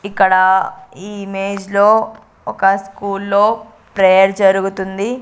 ఇక్కడ ఈ ఇమేజ్ లో ఒక స్కూల్లో ప్రేయర్ జరుగుతుంది.